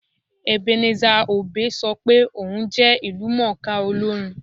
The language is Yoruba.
Ebenezer Obey sọ pé òun jẹ ìlúmọ̀ọ́ká olórin